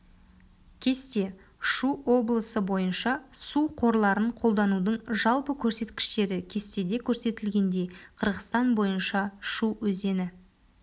кесте шу облысы бойынша су қорларын қолданудың жалпы көрсеткіштері кестеде көрсетілгендей қырғызстан бойынша шу өзені